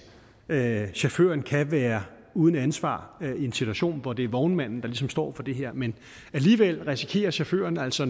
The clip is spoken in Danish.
at chaufføren kan være uden ansvar i en situation hvor det er vognmanden der ligesom står for det her men alligevel risikerer chaufføren altså